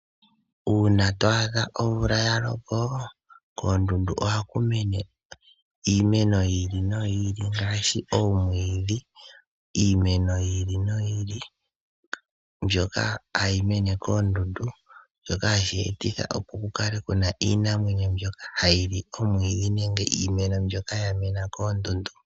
Uuna twaadha omvula yaloka koondundu ohaku mene iimeno yi ili no yi ili ngaashi oomwiidhi. Iimeno yi ili noyi ili mboka hayi mene koondundu, mbyoka hashi yeetitha opo ku kale ku na iinamwenyo mbyoka hayi li omwiidhi nenge iimeno mbyoka ya mena koondundu.